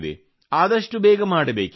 ಆದಷ್ಟು ಬೇಗ ಮಾಡಬೇಕಿದೆ